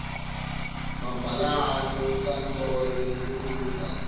mabhalane wenkantolo yetekulingana